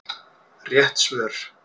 Rétt svör